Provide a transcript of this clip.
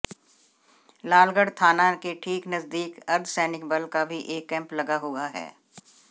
लालगढ़ थाना के ठीक नजदीक अर्धसैनिक बल का भी एक कैम्प लगा हुआ है